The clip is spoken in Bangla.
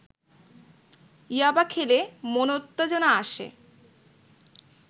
ইয়াবা খেলে মনোত্তেজনা আসে